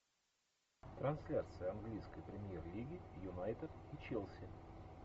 трансляция английской премьер лиги юнайтед и челси